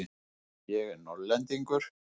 Ég er Norðlendingur.